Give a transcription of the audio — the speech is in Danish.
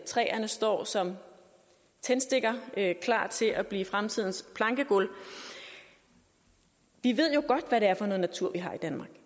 træerne står som tændstikker klar til at blive fremtidens plankegulve vi ved jo godt hvad det er for noget natur vi har i danmark